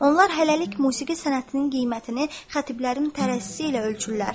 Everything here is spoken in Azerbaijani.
Onlar hələlik musiqi sənətinin qiymətini xatiblərin tərəzisi ilə ölçürlər.